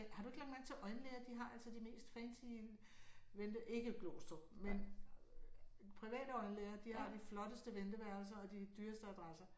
Har du ikke lagt mærke til at øjenlæger de har altså de mest fancy vente ikke Glostrup men private øjenlæger de har de flotteste venteværelser og de dyreste addresser